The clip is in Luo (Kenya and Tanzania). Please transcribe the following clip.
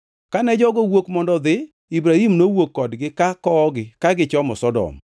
Kane jogo owuok mondo odhi, Ibrahim nowuok kodgi ka kowogi ka gichomo Sodom.